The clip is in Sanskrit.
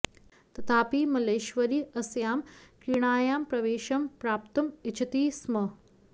तथापि मल्लेश्वरी अस्यां क्रीडायां प्रवेशं प्राप्तुम् इच्छति स्म